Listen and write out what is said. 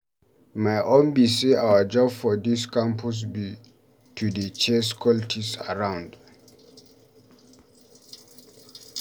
My own be say our job for dis campus be to dey chase cultists around.